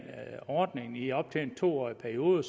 ordningen i op til en to årig periode og